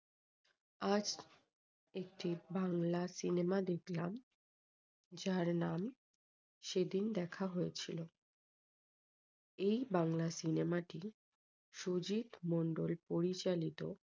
আজ একটি বাংলা cinema দেখলাম। যার নাম সেদিন দেখা হয়েছিল। এই বাংলা cinema টি সুজিত মন্ডল পরিচালিত